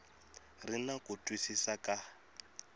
ri na ku twisisa ka